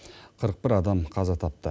қырық бір адам қаза тапты